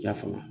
I y'a faamu